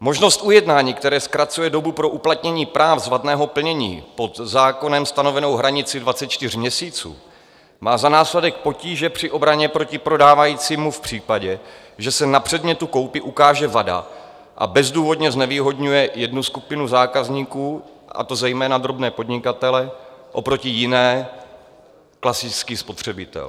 Možnost ujednání, které zkracuje dobu pro uplatnění práv z vadného plnění pod zákonem stanovenou hranici 24 měsíců, má za následek potíže při obraně proti prodávajícímu v případě, že se na předmětu koupě ukáže vada, a bezdůvodně znevýhodňuje jednu skupinu zákazníků, a to zejména drobné podnikatele, oproti jiné - klasický spotřebitel.